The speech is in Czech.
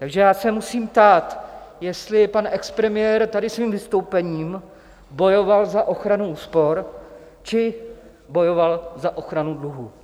Takže já se musím ptát, jestli pan expremiér tady svým vystoupením bojoval za ochranu úspor, či bojoval za ochranu dluhů.